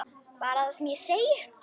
Bara það sem ég sagði.